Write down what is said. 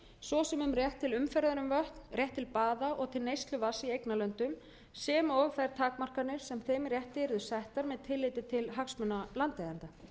svo sem um rétt til umferðar um vötn rétt til baða og til neyslu vatns í eignarlöndum sem og þær takmarkanir sem þeim rétti yrðu settar með tilliti til hagsmuna landeigenda